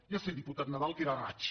ja sé diputat nadal que era a raig